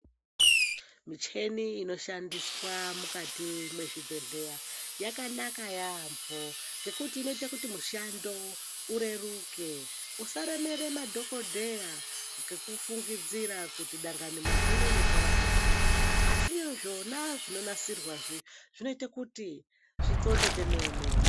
Micheni inoshandiswa mukati wezvibhedhleya yakanaka yaambo ngekuti inoita kuti mushando ureruke usaremera madhokodheya ngekufungidzira kuti Dani muntu uno unorwara ngechakati asi zvona zvinonasirwa zvinoita kuti zvixonde kwemene.